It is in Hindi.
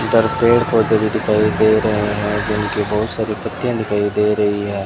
इधर पेड़ पौधे भी दिखाई दे रहे हैं जिनकी बहुत सारी पत्तियां दिखाई दे रही है।